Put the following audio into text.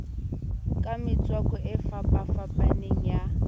ka metswako e fapafapaneng ya